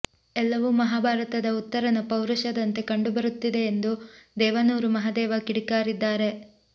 ಎಲ್ಲವೂ ಮಹಾಭಾರತದ ಉತ್ತರನ ಪೌರುಷದಂತೆ ಕಂಡುಬರುತ್ತಿದೆ ಎಂದು ದೇವನೂರು ಮಹದೇವ ಕಿಡಿಕಾರಿದ್ದಾರೆ